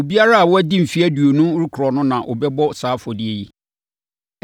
Obiara a wadi mfeɛ aduonu rekorɔ no na ɔbɛbɔ saa afɔdeɛ yi.